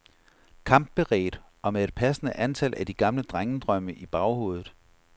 Kampberedt og med et passende antal af de gamle drengedrømme i baghovedet.